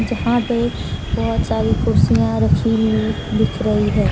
जहां पे बहोत सारी कुर्सियां रखी हुई दिख रही है।